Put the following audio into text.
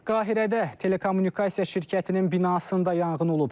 Qahirədə telekommunikasiya şirkətinin binasında yanğın olub.